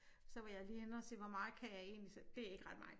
Så var jeg lige henne og se hvor meget kan jeg egentlig se det ikke ret meget